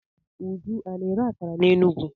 Uju a na-ere akara n'Enugwu?